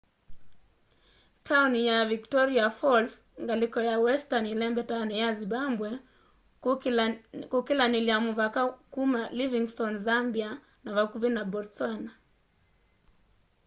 tauni ya victoria falls ngaliko ya westani ilembetani ya zimbabwe kukilanilya muvaka kuma livingstone zambia na vakuvi na botswana